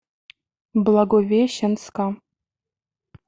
благовещенска